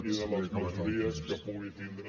i de les majories que pugui tindre